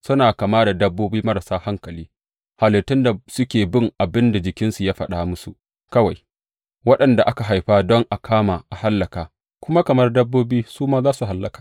Suna kama da dabbobi marasa hankali, halittun da suke bin abin da jikinsu ya faɗa musu kawai, waɗanda aka haifa don a kama a hallaka, kuma kamar dabbobi su ma za su hallaka.